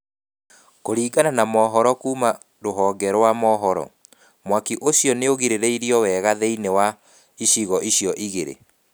Kũringana na mohoro kuuma rũhonge rwa mohoro, mwaki ũcio nĩũgirĩrĩrio wega thĩinĩ wa icigo icio igĩrĩ.